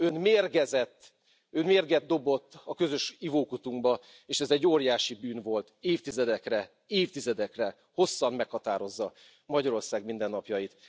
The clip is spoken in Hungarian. Ön mérgezett, Ön mérget dobott a közös ivókutunkba, és ez egy óriási bűn volt, évtizedekre, hosszan meghatározza Magyarország mindennapjait.